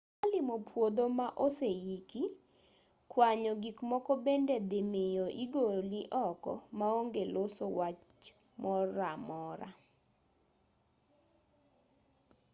ka limo puodho ma oseiki kwanyo gik moko bende dhimiyo igoli oko maonge loso wach moramora